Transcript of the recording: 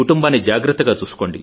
మీ కుటుంబాన్ని జాగ్రత్తగా